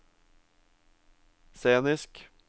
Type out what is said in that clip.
scenisk